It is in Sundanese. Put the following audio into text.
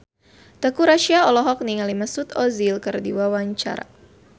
Teuku Rassya olohok ningali Mesut Ozil keur diwawancara